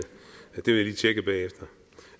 det vil jeg lige tjekke bagefter